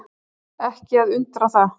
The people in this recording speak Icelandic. Ekki að undra það.